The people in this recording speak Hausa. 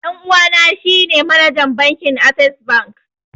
Ɗan uwana shi ne manajan bankin assess bank